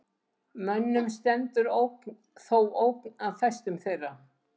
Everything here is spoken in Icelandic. Mönnum stendur þó ógn af fæstum þeirra.